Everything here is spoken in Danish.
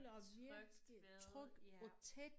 Trygt ved ja